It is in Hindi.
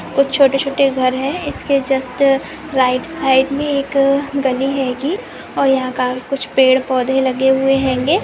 कुछ छोटे-छोटे घर है इसके जस्ट राइट साइड में एक गली है गी और यहाँ क कुछ पेड़-पौधे लगे हुए है गे--